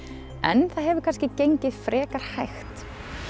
en það hefur kannski gengið frekar hægt